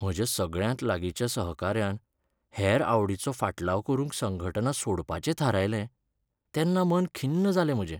म्हज्या सगळ्यांत लागींच्या सहकाऱ्यान हेंर आवडीचो फाटलाव करूंक संघटना सोडपाचें थारायलें तेन्ना मन खिन्न जालें म्हजें.